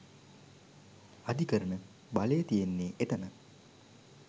අධිකරණ බලය තියෙන්නේ එතන.